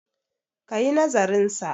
ka yi nazarinsa!